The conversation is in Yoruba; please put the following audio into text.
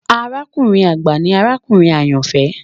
Àràkùnrin agba ni àràkùnrin ayanfẹ